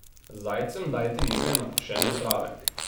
Zajcem dajte nekaj nakošene trave.